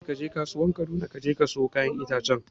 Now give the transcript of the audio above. Yace kaje kasuwan Kaduna kaje ka siyo kayan itace